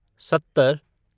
सत्तर